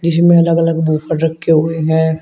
जिसमें अलग अलग वूफर रखे हुए हैं।